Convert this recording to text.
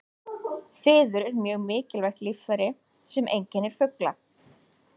Fiður er mjög mikilvægt líffæri sem einkennir fugla.